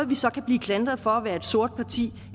vi så kan blive klandret for at være et sort parti